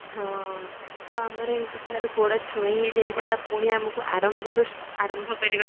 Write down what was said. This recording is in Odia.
ହଁ ଆମର ଏମିତି ଥରେ ଗୋଡ ଛୁଇଁ ହେଇଯାଇଥିଲା ପୁଣି ଆମକୁ ଆରମ୍ଭରୁ ଆରମ୍ଭ କରିବାକୁ ପଡିଥିଲା